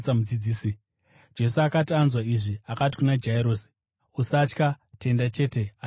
Jesu akati anzwa izvi, akati kuna Jairosi, “Usatya; tenda chete, achaporeswa.”